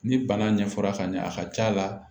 Ni bana ɲɛfɔra ka ɲɛ a ka c'a la